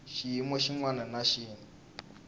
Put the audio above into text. xiyimo xin wana na xin